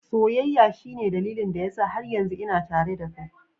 Soyayya shine dalilin da yasa har yanzu ina tare da kai.